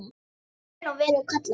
Ég er í raun og veru kallaður.